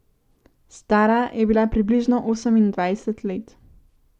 Stara je bila približno osemindvajset let.